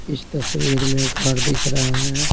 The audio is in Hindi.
इस तस्वीर में घर दिख रहा है।